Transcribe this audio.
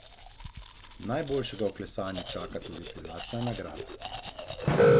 Najboljšega v klesanju čaka tudi privlačna nagrada.